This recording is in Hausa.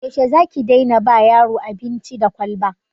Yaushe za ki daina ba yaro abinci da kwalba?